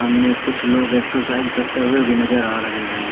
सामने कुछ लोग एक्सरसाइज करते हुए भी नजर आ रहे हैं।